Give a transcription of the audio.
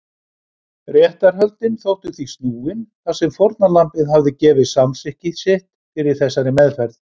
Réttarhöldin þóttu því snúin þar sem fórnarlambið hafði gefið samþykki sitt fyrir þessari meðferð.